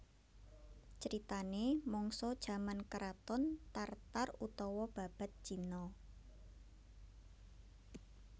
Critanè mangsa jaman kraton Tar Tar utawa Babad Cina